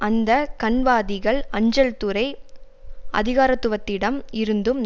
அந்த கன்வாதிகள் அஞ்சல் துறை அதிகாரத்துவத்திடம் இருந்தும்